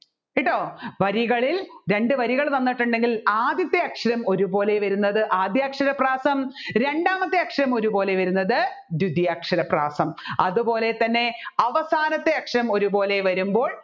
കേട്ടോ വരികളിൽ രണ്ടുവരികൾ തന്നിട്ടുണ്ടെങ്കിൽ ആദ്യത്തെ അക്ഷരം ഒരുപോലെ വരുന്നത് ആദ്യാക്ഷര പ്രാസം രണ്ടാമത്തെ അക്ഷരം ഒരുപോലെ വരുന്നത് ദ്വിതിയക്ഷര പ്രാസം അതുപോലെ തന്നെ അവസാനത്തെ അക്ഷരം ഒരുപോലെ വരുമ്പോൾ